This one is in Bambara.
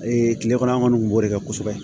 kile kɔnɔ an kɔni kun b'o de kɛ kosɛbɛ